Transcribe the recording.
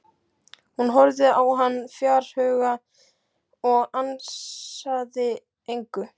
Hún horfði á hann fjarhuga og ansaði engu.